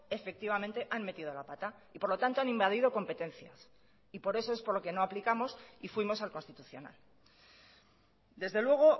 efectivamente han metido la pata y por lo tanto han invadido competencias y por eso es por lo que no aplicamos y fuimos al constitucional desde luego